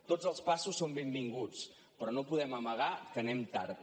tots els passos són benvinguts però no podem amagar que anem tard